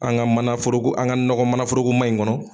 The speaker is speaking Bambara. An ka mana foroko an ka nɔgɔ mana foroko ma in kɔnɔ.